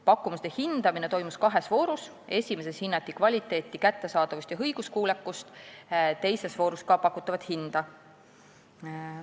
Pakkumusi hinnati kahes voorus: esimeses hinnati kvaliteeti, kättesaadavust ja õiguskuulekust, teises voorus ka pakutavat hinda.